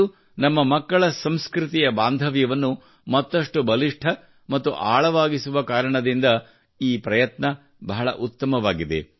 ಇದು ನಮ್ಮ ಮಕ್ಕಳ ಸಂಸ್ಕೃತಿಯ ಬಾಂಧವ್ಯವನ್ನು ಮತ್ತಷ್ಟು ಬಲಿಷ್ಠ ಮತ್ತು ಆಳವಾಗಿಸುವ ಕಾರಣದಿಂದ ಈ ಪ್ರಯತ್ನ ಬಹಳ ಉತ್ತಮವಾಗಿದೆ